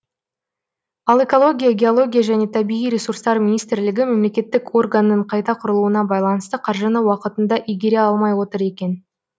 ал экология геология және табиғи ресурстар министрлігі мемлекеттік органның қайта құрылуына байланысты қаржыны уақытында игере алмай отыр екен